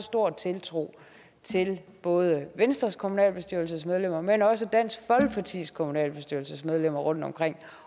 stor tiltro til både venstres kommunalbestyrelsesmedlemmer men også dansk folkepartis kommunalbestyrelsesmedlemmer rundtomkring